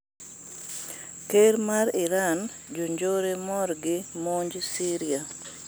Ker ma Iran: ''jonjore'' morgi monj Syria